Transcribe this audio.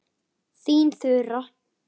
Þín Þura.